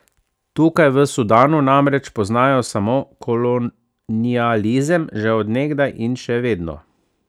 Tukaj, v Sudanu, namreč poznajo samo kolonializem, že od nekdaj in še vedno.